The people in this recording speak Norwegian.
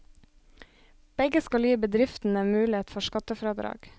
Begge skal gi bedriftene mulighet for skattefradrag.